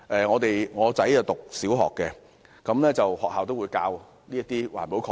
我的兒子是小學生，學校也會教授環保概念。